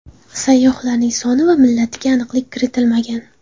Sayyohlarning soni va millatiga aniqlik kiritilmagan.